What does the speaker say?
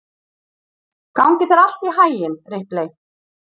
Gangi þér allt í haginn, Ripley.